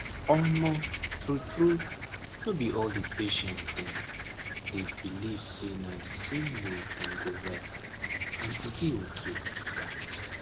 omo true true no be all di patient dem dey believe say na di same way dem go well and e dey okay like dat.